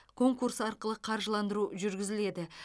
конкурс арқылы қаржыландыру жүргізіледі